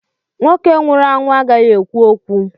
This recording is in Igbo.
Nwoke nwụrụ anwụ agaghị ekwu okwu.